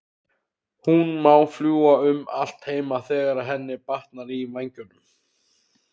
Hún má fljúga um allt heima þegar henni batnar í vængnum.